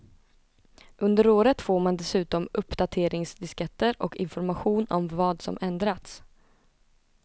Under året får man dessutom uppdateringsdisketter och information om vad som ändrats.